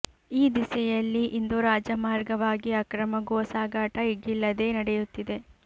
ಈ ದಿಸೆಯಲ್ಲಿ ಇಂದು ರಾಜಮಾರ್ಗವಾಗಿ ಅಕ್ರಮ ಗೋ ಸಾಗಾಟ ಎಗ್ಗಿಲ್ಲದೇ ನಡೆಯುತ್ತಿದೆ